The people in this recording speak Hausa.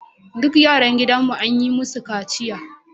Duk yaran gidanmu an yi musu kaciya